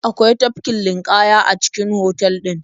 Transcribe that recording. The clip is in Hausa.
Akwai tafkin ninƙaya a cikin otal ɗin.